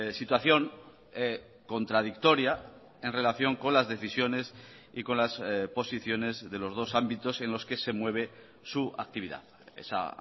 situación contradictoria en relación con las decisiones y con las posiciones de los dos ámbitos en los que se mueve su actividad esa